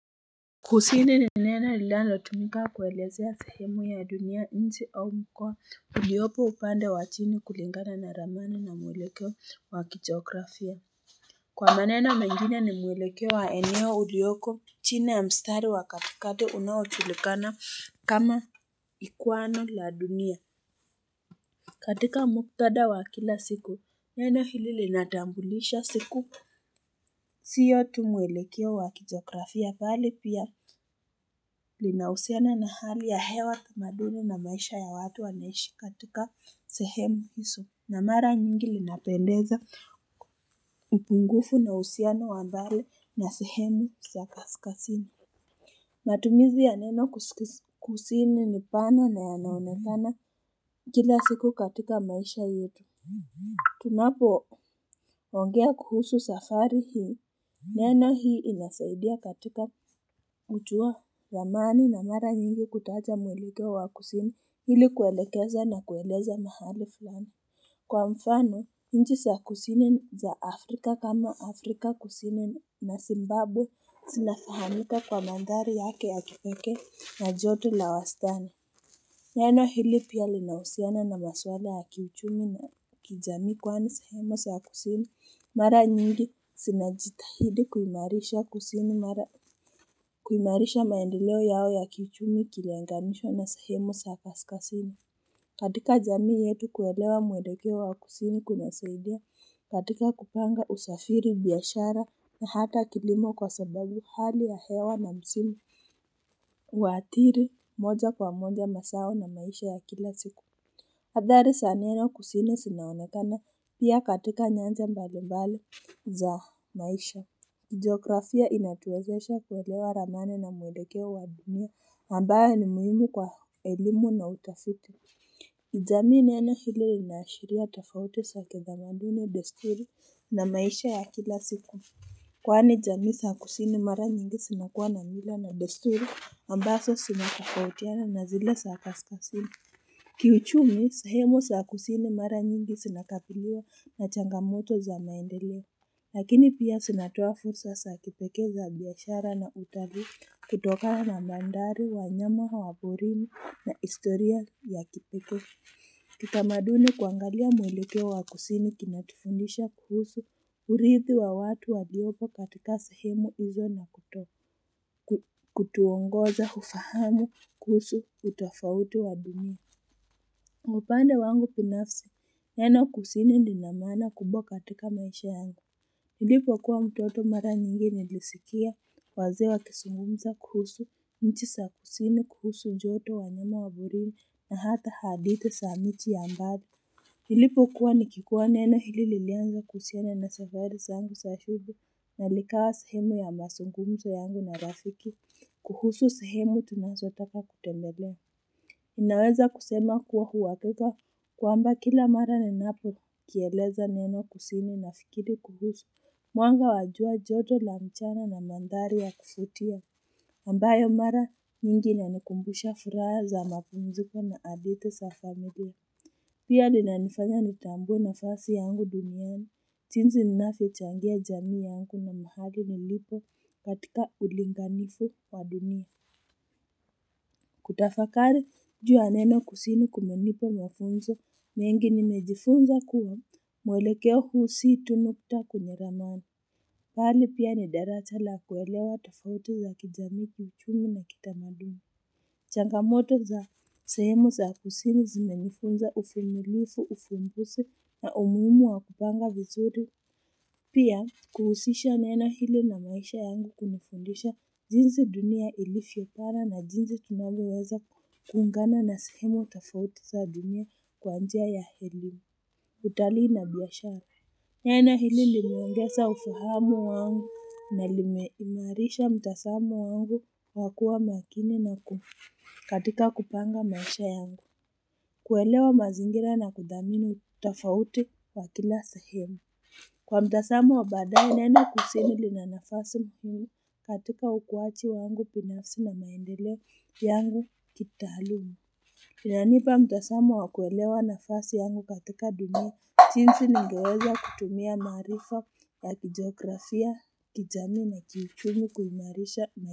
Kusini ni neno lila nilatumika kuelezea sehemu ya dunia nchi au mkoa huliopo upande wa chini kulingana na ramani na mwelekeo wa kigiografia Kwa maneno mengine ni mwelekeo wa eneo uliyoko chini ya mstari wa katikati unaojulikana kama ikwano la dunia katika muktada wa kila siku neno hili linatambulisha siku siyo tumwelekeo wakijografia bali pia linausiana na hali ya hewa tamaduni na maisha ya watu waneshi katika sehemu iso na mara nyingi linapendeza upungufu na usiana wambale na sehemu kasikasini matumizi ya neno kusikusini nipana na yanaonekana kila siku katika maisha yetu Tunapo ongea kuhusu safari hii, neno hii linasaidia katika kujuwa ramani na mara nyingi kutawaja mwilekeo wa kusini hili kuelekeza na kueleza mahali fulani Kwa mfano, nchi zA kusini ya Afrika kama Afrika kusini na Zimbabwe sinafahamika kwa mandhari yake ya kipeke na joto na wastani Neno hili pia linauhusiano na maswala ya kiuchumi na kijami kwani sehemu sa kusini mara nyingi sinajitahidi kuimarisha kusini mara kuimarisha maendileo yao ya kiuchumi kilinganishwa na sehemu saakaskasini katika jami yetu kuwelewa muelekewa wa kusini kunasaidia katika kupanga usafiri biyashara na hata kilimo kwa sababu hali ya hewa na msimu huathiri moja kwa moja masao na maisha ya kila siku Athari saaneno kusini sinaanatana pia katika nyanja mbalimbali za maisha jiografia inatuwezesha kuwelewa ramani na mweleke wa dunia ambao ni muhimu kwa elimu na utafiti jamii neno hili linashiria tafauti sa kitamambuni desturi na maisha ya kila siku Kwani jami sa kusini mara nyingi sinakua na mila na desturi ambaso sinatofautiana na zile sakaskasini. Kiuchumi sahemu sakusini mara nyingi sinakabiliwa na changamoto za maendeleo. Lakini pia sinatoa fursa sa kipeke za biyashara na utari kutoka na mandhari wanyama wa porini na historia ya kipeke. Kitamaduni kuangalia mwelekeo wa kusini kunatufundisha kuhusu urithi wa watu wa liopo katika sahemu izo na kutuongoza ufahamu kuhusu utafauti wa bimu Mupande wangu binafsi, neno kusini lina mana kubwa katika maisha yangu Hilipo kuwa mtoto mara nyingi nilisikia wazee wakisungumza kuhusu nchi sa kusini kuhusu joto wanyama waporini na hata hadithi sa miji ya mbali nilipo kuwa nikikuwa neno hili lilianza kuhusina na safari sangu sashubu na likawa sahemu ya masungumzo yangu na rafiki kuhusu sahemu tunasotaka kutembele Unaweza kusema kuwa huwakeka kuamba kila mara ninapo kieleza neno kusini na fikiri kuhusu. Mwanga wajua joto la mchana na mandhari ya kufuvutia. Ambayo mara mingi nanikumbusha furaha za mapumziko na adithi safamilia. Pia linanifanya nitambue nafasi yangu duniana. Jinsi ninafe changia jamii yangu na mahali nilipo katika ulingamifu waduiia. Kutafakari juu neno kusini kumenipa mafunzo mengi ni mejifunza kuwa mwelekeo huu si tu nukta kwenye ramani bali pia ni daraja la kuwelewa tafauti za kijami kiuchumi na kita madumi changamoto za sahemu za kusini zime nifunza ufumilifu ufumbusi na umuhimu wa kupanga vizuri pia Kuhusisha neno hili na maisha yangu kunufundisha jinsi dunia ilivyo pana na jinsi tunavyoweza kuungana na sehemu tufauti za dunia kwanjia ya elimu utalii na biyashara. Nena hili linuangesa ufahamu wangu na limeimarisha mtasamo wangu wakua makini na katika kupanga maisha yangu. Kuelewa mazingira na kudhamini utafauti wakila sehemu. Kwa mtasamo wa badaye nene kusini li na nafasi ni katika ukuwachi wangu pinafsi na naendelewa yangu kitahaluma inanipa mtasama wa kuelewa nafasi yangu katika dunia jinsi ni ngeweza kutumia maarifa la kigografia kijami na kiuchumi kuimarisha.